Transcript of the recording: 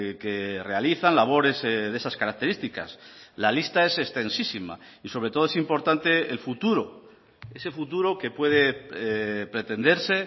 que realizan labores de esas características la lista es extensísima y sobre todo es importante el futuro ese futuro que puede pretenderse